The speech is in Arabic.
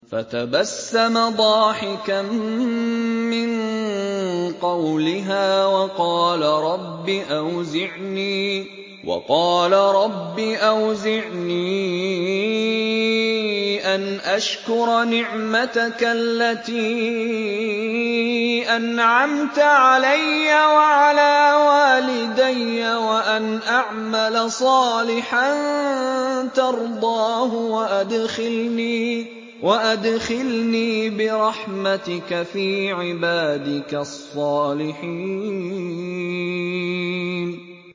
فَتَبَسَّمَ ضَاحِكًا مِّن قَوْلِهَا وَقَالَ رَبِّ أَوْزِعْنِي أَنْ أَشْكُرَ نِعْمَتَكَ الَّتِي أَنْعَمْتَ عَلَيَّ وَعَلَىٰ وَالِدَيَّ وَأَنْ أَعْمَلَ صَالِحًا تَرْضَاهُ وَأَدْخِلْنِي بِرَحْمَتِكَ فِي عِبَادِكَ الصَّالِحِينَ